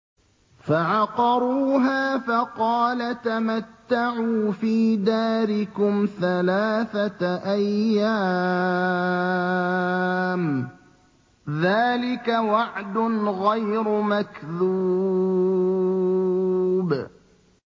فَعَقَرُوهَا فَقَالَ تَمَتَّعُوا فِي دَارِكُمْ ثَلَاثَةَ أَيَّامٍ ۖ ذَٰلِكَ وَعْدٌ غَيْرُ مَكْذُوبٍ